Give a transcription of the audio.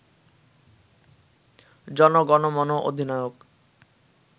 জনগণমন অধিনায়ক